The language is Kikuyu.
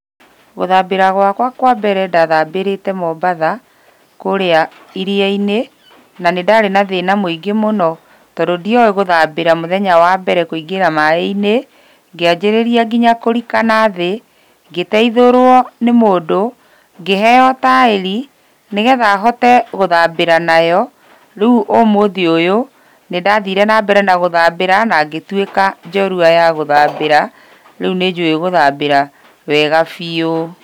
Gũthambĩra gwakwa kwa mbere ndathambĩrĩte mombatha, kũrĩa iria-inĩ, na nĩ ndarĩ na thĩna mũingĩ mũno tondũ ndioe gũthambĩra mũthenya wa mbere kũingĩra maaĩ-inĩ, ngĩanjĩrĩria nginya kũrika nathĩ, ngĩteithũrũo nĩ mũndũ, ngĩheo taĩri, nĩgetha hote gũthambĩra nayo, rĩu ũmũthĩ ũyũ, nĩndathire na mbere na gũthambĩra na ngĩtuĩka njorua ya gũthambĩra, rĩu nĩnjũĩ gũthambĩra wega biũ.